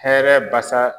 Hɛrɛ basa